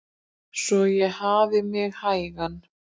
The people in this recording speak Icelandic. Svo ég hafði mig hægan.